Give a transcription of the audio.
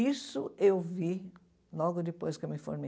Isso eu vi logo depois que eu me formei.